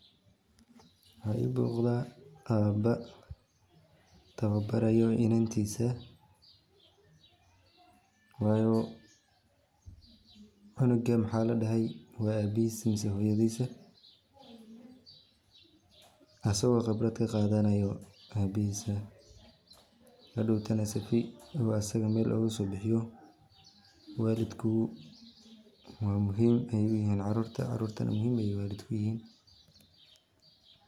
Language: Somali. Waxa ii muuqda aba taba baarayo iinantiisa wayo canuga maxa ladhahay waa abihis mise hoyoodisa, asago qibrad kaqaadanayo abihiisa hadhow tana sifi Mel asaga ogaso bixiyo, walidku waa muhiim ayay uyihin carurta, carurtana muhiim ayay walidka uyihiin